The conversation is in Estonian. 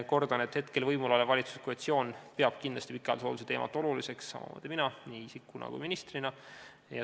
Kordan, et võimul olev valitsuskoalitsioon peab kindlasti pikaajalise hoolduse teemat oluliseks, samuti teen seda mina nii isikuna kui ka ministrina.